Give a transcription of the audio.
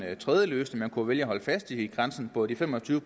tredje løsning man kunne vælge at holde fast i grænsen på de fem og tyve